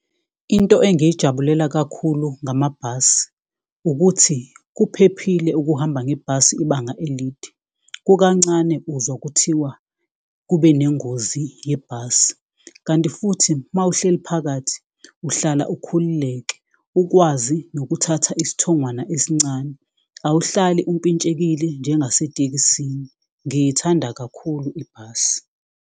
Into engiyijabulela kakhulu ngamabhasi ukuthi kuphephile ukuhamba ngebhasi ibanga elide. Kukancane uzwa kuthiwa kube nengozi yebhasi kanti futhi mawuhleli phakathi uhlala ukhululeke. Ukwazi nokuthatha isithongwana esincane, awuhlali umpintshekile njengasetekisini. Ngiyithanda kakhulu ibhasi.